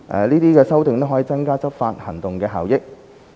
這些修訂可增加執法行動的效益。